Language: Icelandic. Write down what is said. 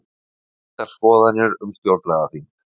Skiptar skoðanir um stjórnlagaþing